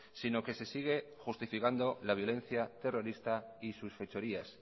sino que se sigue justificando la violencia terrorista y sus fechorías